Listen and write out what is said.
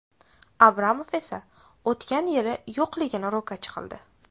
Abramov esa o‘tgan yili yo‘qligini ro‘kach qildi.